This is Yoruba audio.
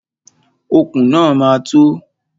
Okùn náà ma tó.